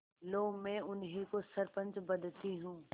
लो मैं उन्हीं को सरपंच बदती हूँ